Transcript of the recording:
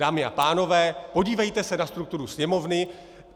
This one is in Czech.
Dámy a pánové, podívejte se na strukturu Sněmovny.